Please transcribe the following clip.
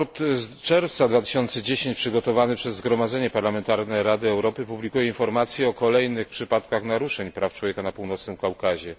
Sprawozdanie z czerwca 2010 roku przygotowane przez Zgromadzenie Parlamentarne Rady Europy publikuje informacje o kolejnych przypadkach naruszeń praw człowieka na Północnym Kaukazie.